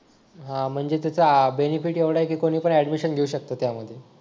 हा म्हणजे त्याचा बेनिफिट एवढा आहे की कोणी पण ॲडमिशन घेऊ शकत त्यामध्ये